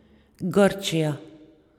Grčija.